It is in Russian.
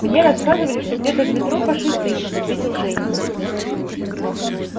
мне рассказывали что где-то в метро фашисты есть ответил женька